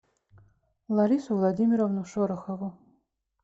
ларису владимировну шорохову